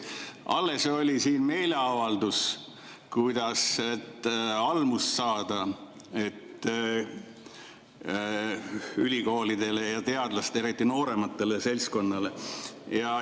Alles oli siin meeleavaldus, kuidas ülikoolidele ja teadlastele, eriti nooremale seltskonnale, almust saada.